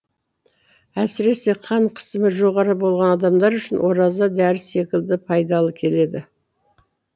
әсіресе қан қысымы жоғары болған адамдар үшін ораза дәрі секілді пайдалы келеді